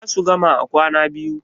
za su gama a kwana biyu